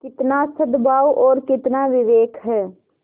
कितना सदभाव और कितना विवेक है